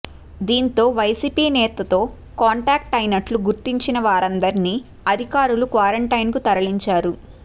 దీంతో వైసీపీ నేతతో కాంటాక్ట్ అయినట్లు గుర్తించిన వారందిరినీ అధికారులు క్వారంటైన్కు తరలించారు